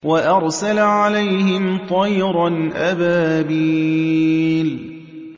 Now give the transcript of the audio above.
وَأَرْسَلَ عَلَيْهِمْ طَيْرًا أَبَابِيلَ